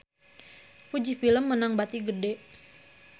Fuji Film meunang bati gede